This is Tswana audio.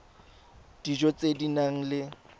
dijo tse di nang le